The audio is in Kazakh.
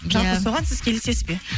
жалпы соған сіз келісесіз бе